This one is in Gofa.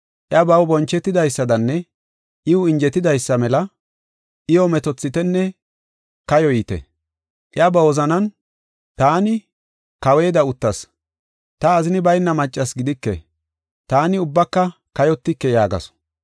Iya baw bonchetidaysadanne iw injetidaysa mela, iyo metoothitenne kayoyite. Iya ba wozanan, ‘Taani kaweeda uttas; ta azini bayna maccas gidike; taani ubbaka kayotike’ yaagasu.